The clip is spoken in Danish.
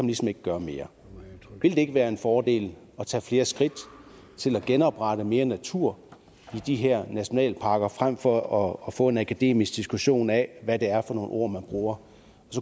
ligesom ikke gøre mere vil det ikke være en fordel at tage flere skridt til at genoprette mere natur i de her nationalparker frem for at få en akademisk diskussion af hvad det er for nogle ord man bruger